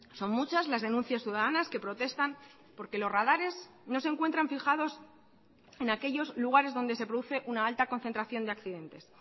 son muchas las denuncias ciudadanas que protestan porque los radares no se encuentran fijados en aquellos lugares donde se produce una alta concentración de accidentes